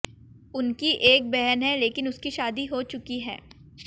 उनकी एक बहन है लेकिन उसकी शादी हो चुकी है